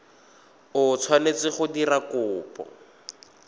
o tshwanetseng go dira kopo